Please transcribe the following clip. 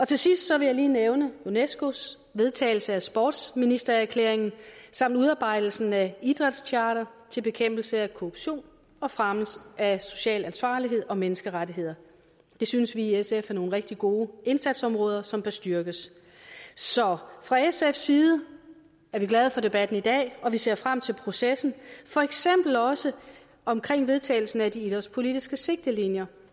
til sidst vil jeg lige nævne unescos vedtagelse af sportsministererklæringen samt udarbejdelsen af idrætscharter til bekæmpelse af korruption og fremme af social ansvarlighed og menneskerettigheder det synes vi i sf er nogle rigtig gode indsatsområder som bør styrkes så fra sfs side er vi glade for debatten i dag og vi ser frem til processen for eksempel også omkring vedtagelsen af de idrætspolitiske sigtelinjer